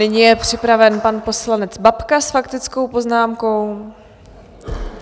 Nyní je připraven pan poslanec Babka s faktickou poznámkou.